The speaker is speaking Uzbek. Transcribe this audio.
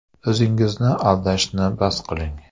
O‘zingizni aldashni bas qiling!